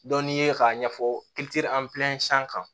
Dɔn n'i ye k'a ɲɛfɔ kan